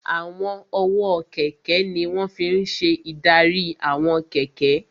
Àwọn ọwọ́ kẹ̀kẹ́ ní wọ́n fi n ṣe ìdarí àwọn kẹ̀kẹ́